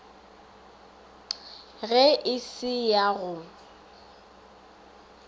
ge e se ya go